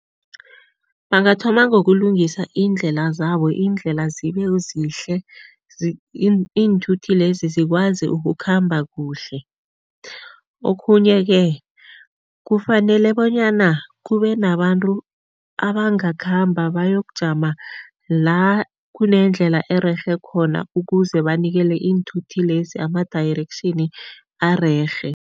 Bangathoma ngokulungisa iindlela zabo, iindlela zibezihle, iinthuthi lezi zikwazi ukukhamba kuhle. Okhunye-ke fanele bonyana kube nabantu abangakhamba bayokujama la kunendlela ererhe khona ukuze banikele iinthuthi lezi ama-direction arerhe.